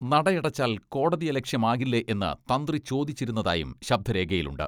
നടയടച്ചാൽ കോടതിയലക്ഷ്യമാകില്ലേ എന്ന് തന്ത്രി ചോദിച്ചിരുന്നതായും ശബ്ദരേഖയിലുണ്ട്.